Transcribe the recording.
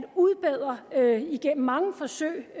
udbedre igennem mange forsøg